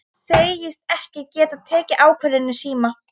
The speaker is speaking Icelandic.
Segist ekki geta tekið ákvörðun í síma.